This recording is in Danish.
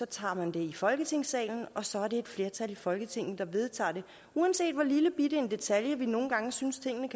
tager man det i folketingssalen og så er det et flertal i folketinget der vedtager det uanset hvor lillebitte en detalje vi nogle gange synes en